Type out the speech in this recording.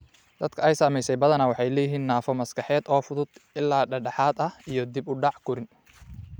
Dadka ay saamaysay badanaa waxay leeyihiin naafo maskaxeed oo fudud ilaa dhexdhexaad ah iyo dib u dhac korriin.